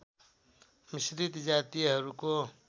मिश्रित जातिहरूको